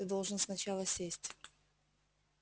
ты должен сначала сесть